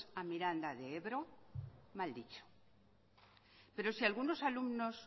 a miranda de ebro mal dicho pero si algunos alumnos